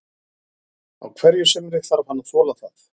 Á hverju sumri þarf hann að þola það.